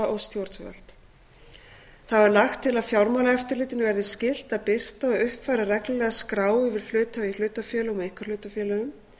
og stjórnvöld þá er lagt til að fjármálaeftirlitinu verði skylt að birta og uppfæra reglulega skrá yfir hluthafa í hlutafélögum og einkahlutafélögum